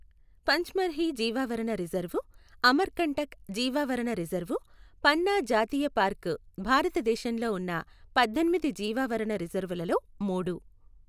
పంచ్మర్హి జీవావరణ రిజర్వు, అమర్కంటక్ జీవావరణ రిజర్వు, పన్నా జాతీయ పార్కు భారతదేశంలో ఉన్న పద్దెనిమిది జీవావరణ రిజర్వులలో మూడు.